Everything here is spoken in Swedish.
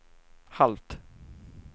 halvt